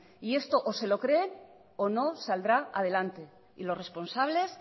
y esto o se lo creen o no saldrá adelante y los responsables